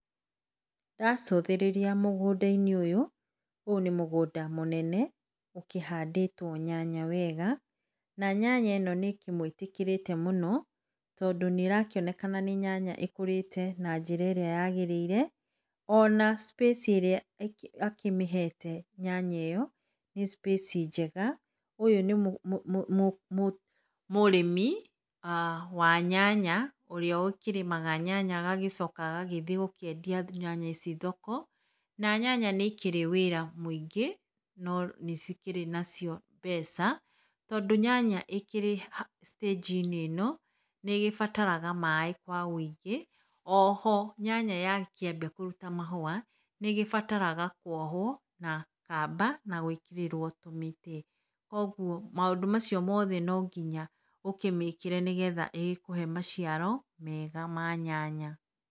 Ndacũthĩrĩria mũgũnda -inĩ ũyũ nĩ mũgũnda mũnene ũkĩhandĩtwo nyanya wega na nyanya ĩno nĩkĩmwĩtĩkĩrete nĩ mũno tondũ nĩrakĩonekana nĩ nyanya ĩkũrĩte na njĩra ĩrĩa yagĩrĩire, ona space ĩrĩa akĩmĩhete nyanya ĩyo nĩ space njega, ũyũ nĩ mũrĩmi wa nyanya ũrĩa ũkĩrĩmaga nyanya agagĩcoka agathiĩ kwendia nyanya thoko, na nyanya nĩi kĩrĩ wĩra mũingĩ no nĩcikĩrĩ nacio mbeca, tondũ nyanya ĩkĩrĩ citĩnji ĩno nĩbataraga maĩ kwa wũingĩ. O ho nyanya yakĩambia kũruta mahũa nĩgĩbataraga kwoho na kamba na gwĩkĩrĩrwo tũmĩtĩ, koguo maũndũ macio mothe nonginya ũkĩmĩkĩre, nĩgetha ĩkũhe maciaro mega ma nyanya.